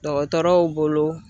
Dɔgɔtɔrɔw bolo.